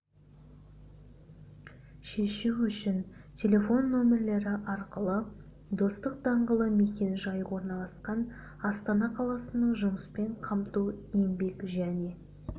шешу үшін телефон нөмірлері арқылы достық даңғылы мекен-жайы бойынша орналасқан астана қаласының жұмыспен қамту еңбекжәне